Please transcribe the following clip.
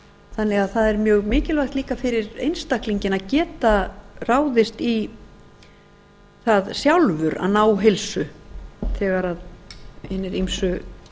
þannig að það er mjög mikilvægt líka fyrir einstaklinginn að geta ráðist í það sjálfur að ná heilsu þegar hinir ýmsu